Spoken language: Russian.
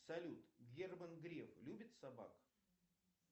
салют герман греф любит собак